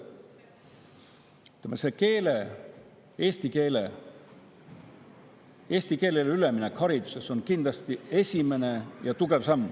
Eesti keelele üleminek hariduses on kindlasti esimene tugev samm.